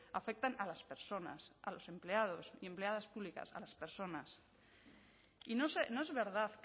afectan a las personas a los empleados y empleadas públicas a las personas y no es verdad